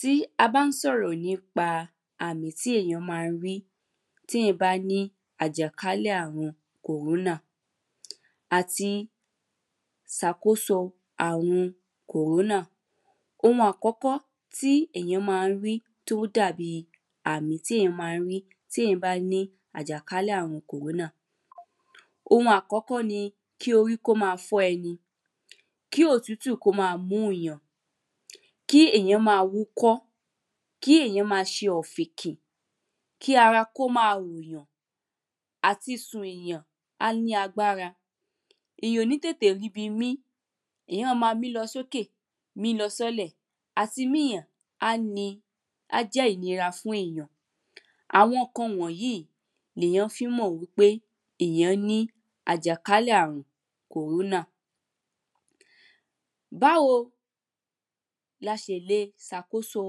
Tí a bá ń sọ̀rọ̀ nípa àmì tí èèyán ma rí tí èyán bá ní àjàkálẹ̀ àrun kòrónà àti sàkóso àrun kòrónà, ohun àkọ́kọ́ tí èyán máa rí, tí ó dàbíi àmì tí èèyàn ma rí tí èyán bá ní àjàkálẹ̀ àrun kòrónà oun àkọ́kọ́ ni kí orí kó ma fọ̀ ẹni, kí òtútù, kó ma mú yàn, kí èyán ma wúkọ́, kí èyán ma ṣe ọ̀fìnkì, kí ara kó ma rò'yàn, àti sùn, èyàn, ó ma l’ágbára, èyàn ò ní tètè rí bi mí, èèyàn ma mí lọ sókè, mí lọ sílẹ̀, àti mí èyàn, á jẹ́ ìnira fún èyàn. Àwọn ǹkan wọ̀nyí lè yàn fi ń mọ̀ pé èyán ní àjàkálẹ̀ àrun kòrónà. Báwo, la ṣẹlẹ̀ ṣàkóso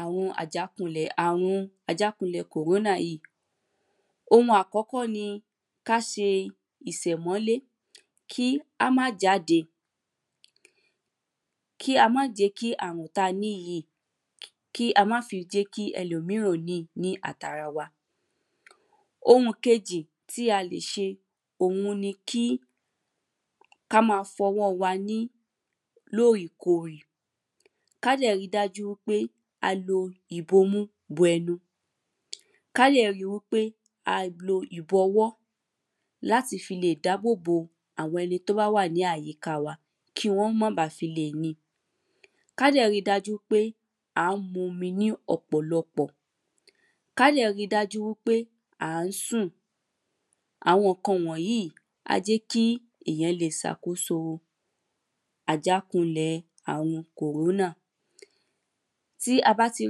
àwọn àjàkálẹ̀ àrun, àjàkálẹ̀ kòrónà yìí? Oun àkọ́kọ́ ni káse ìsẹ̀mọ́lé, kí á má jáde; kí a má jẹ́ kí àrùn ta ní yìí; kí a má fi jẹ́ kí ẹlòmíràn ó ni ní àtara wa. Ohun kejì tí a lè ṣe òhun ni kí, ká ma fọ ọwọ́ọ wa ní òrèkorè. Ká dẹ̀ ri dájú wí pé a lo ìbomú bo ẹnu. Ká dẹ̀ rí wí pé a lo ìbọwọ́ láti fi dábòbo àwọn ẹni tó bá wà ní àyíká wa. Kí wọ́n má ba fì le ni. Ká dẹ̀ ri dájú pé à ń mu omi ní òpòlọpọ̀. Ká dẹ̀ ri dájú pé à ń sùn. Awọn ǹkan wọ̀nyí á jẹ́ kí èyán le sàkóso àjákulẹ̀ àrun kòrónà. Tí a bá ti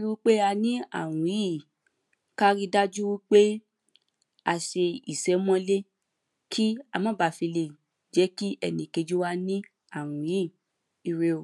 ri pé a ní àwọn àrùn yìí, ká ri dájú wí pé a ṣe ìsẹ́mọ́lé, kí a má bà fi lè jẹ́ kí ẹnìkejì wa ní àrùn yíì. Ire o.